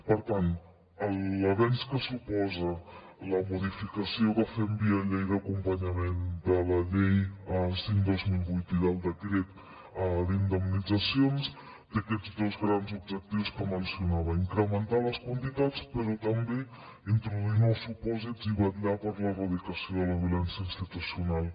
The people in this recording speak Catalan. per tant l’avenç que suposa la modificació que fem via llei d’acompanyament de la llei cinc dos mil vuit i del decret d’indemnitzacions té aquests dos grans objectius que mencionava incrementar les quantitats però també introduir nous supòsits i vetllar per l’erradicació de la violència institucional